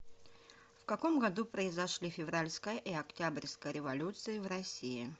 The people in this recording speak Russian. в каком году произошли февральская и октябрьская революции в россии